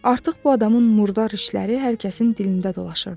Artıq bu adamın murdar işləri hər kəsin dilində dolaşırdı.